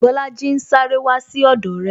Bolaji ń sáré wá sí ọdọ re